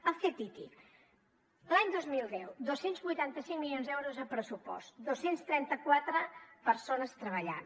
el ctti l’any dos mil deu dos cents i vuitanta cinc milions d’euros de pressupost dos cents i trenta quatre persones treballant